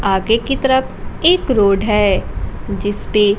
आगे की तरफ एक रोड है जिस पे--